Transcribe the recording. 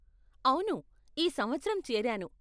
అవును, ఈ సంవత్సరం చేరాను.